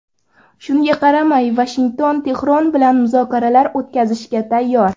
Shunga qaramay, Vashington Tehron bilan muzokaralar o‘tkazishga tayyor.